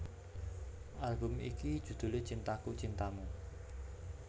Album iki judhulé Cintaku Cintamu